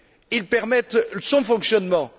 Ils permettent son fonctionnement.